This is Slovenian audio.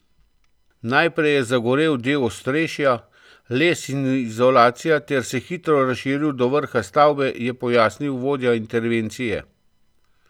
Najprej je zagorel del ostrešja, les in izolacija ter se hitro razširil do vrha stavbe, je pojasnil vodja intervencije.